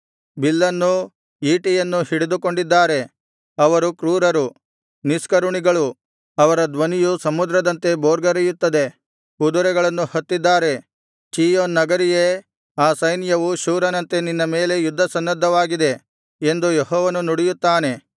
ಬಿಲ್ಲನ್ನೂ ಈಟಿಯನ್ನೂ ಹಿಡಿದುಕೊಂಡಿದ್ದಾರೆ ಅವರು ಕ್ರೂರರು ನಿಷ್ಕರುಣಿಗಳು ಅವರ ಧ್ವನಿಯು ಸಮುದ್ರದಂತೆ ಬೋರ್ಗರೆಯುತ್ತದೆ ಕುದುರೆಗಳನ್ನು ಹತ್ತಿದ್ದಾರೆ ಚೀಯೋನ್ ನಗರಿಯೇ ಆ ಸೈನ್ಯವು ಶೂರನಂತೆ ನಿನ್ನ ಮೇಲೆ ಯುದ್ಧಸನ್ನದ್ಧವಾಗಿದೆ ಎಂದು ಯೆಹೋವನು ನುಡಿಯುತ್ತಾನೆ